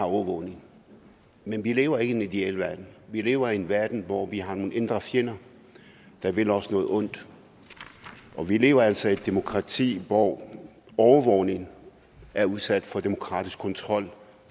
overvågning men vi lever ikke i den ideelle verden vi lever i en verden hvor vi har nogle indre fjender der vil os noget ondt og vi lever altså i et demokrati hvor overvågning er udsat for demokratisk kontrol